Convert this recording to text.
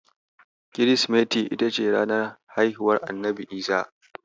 Kirsimeti ita ce ranar haihuwar Annabi Isa.